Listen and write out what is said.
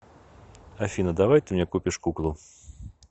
афина давай ты мне купишь куклу